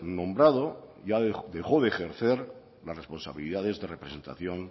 nombrado ya dejó de ejercer responsabilidades de representación